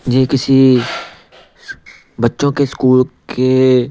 ये किसी बच्चों के स्कूल के--